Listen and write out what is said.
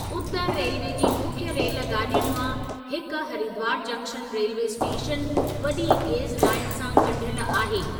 उतर railway जी मुख्य rail गाॾियुनि मां हिकु हरिद्वार जंक्शन रेल्वे स्टेशनि वॾी गेज लाईन सां ॻंढियल आहे।